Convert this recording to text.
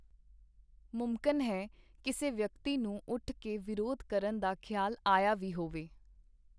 ਮੁਮਕਨ ਹੈ, ਕਿਸੇ ਵਿਅਕਤੀ ਨੂੰ ਉੱਠ ਕੇ ਵਿਰੋਧ ਕਰਨ ਦਾ ਖਿਆਲ ਆਇਆ ਵੀ ਹੋਵੇ.